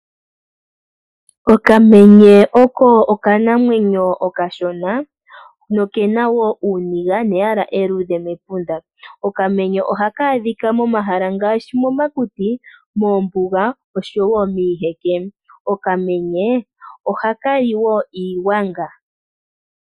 Okamenye oko okanamwenyo okashona no kena woo uuniga neyala eluudhe mepunda . Okamenye ohaka adhika momahala ngaashi momakuti moombuga oshowo miiheke okamenye ohakali woo iigwanga.